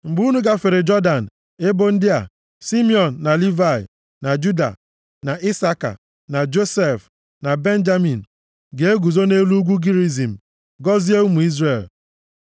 Mgbe unu gafere Jọdan, ebo ndị a: Simiọn, na Livayị na Juda na Isaka na Josef na Benjamin, ga-eguzo nʼelu ugwu Gerizim gọzie ụmụ Izrel